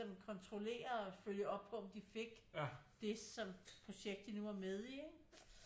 Sådan kontrollere og følge op på om de fik det som det projekt de nu var med i ikke